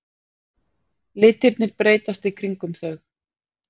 Litirnir breytast í kringum þau.